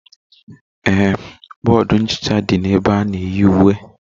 Ee, bọọdụ nchicha dị na ebe ana-eyi uwe